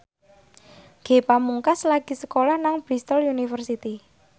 Ge Pamungkas lagi sekolah nang Bristol university